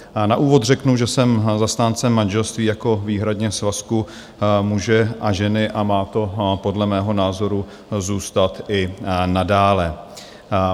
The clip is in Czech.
Na úvod řeknu, že jsem zastáncem manželství jako výhradně svazku muže a ženy a má to podle mého názoru zůstat i nadále.